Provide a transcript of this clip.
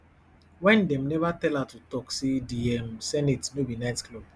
wen dem neva tell her to tok say di um senate no be nightclub